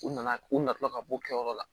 U nana u natɔla ka bɔ kɛyɔrɔ la